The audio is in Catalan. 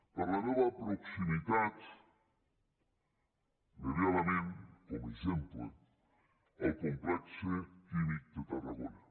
per la meva proximitat me ve a la ment com a exemple el complex químic de tarragona